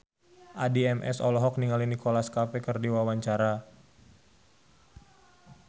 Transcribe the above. Addie MS olohok ningali Nicholas Cafe keur diwawancara